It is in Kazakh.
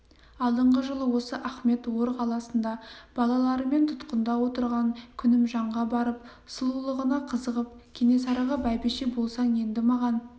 алдыңғы жылы осы ахмет ор қаласында балаларымен тұтқында отырған күнімжанға барып сұлулығына қызығып кенесарыға бәйбіше болсаң енді маған